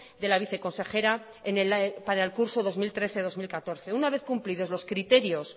de la viceconsejera para el curso dos mil trece dos mil catorce una vez cumplido los criterios